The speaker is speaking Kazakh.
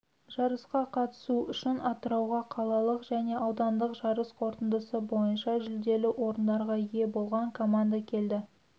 жарысқа қатысу үшін атырауға қалалық және аудандық жарыс қорытындысы бойынша жүлделі орындарға ие болған команда келді